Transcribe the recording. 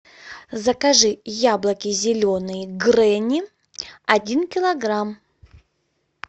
закажи яблоки зеленые гренни один килограмм